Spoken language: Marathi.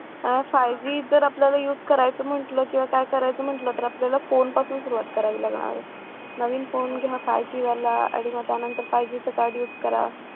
आह five G जर आपल्याला use करायचं म्हटलं किंवा काय करायचं म्हटलं तर आपल्याला फोन पासून सुरुवात करावी लागणार आहे नवीन फोन घ्या five G वाला आणि मग त्यानंतर five G कार्ड use करा